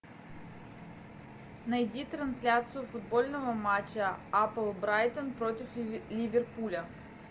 найди трансляцию футбольного матча апл брайтон против ливерпуля